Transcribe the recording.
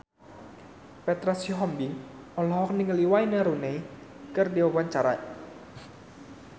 Petra Sihombing olohok ningali Wayne Rooney keur diwawancara